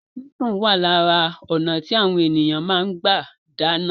Sísun wà lára ọnà tí àwọn èèyàn fi máa ń gbà dáná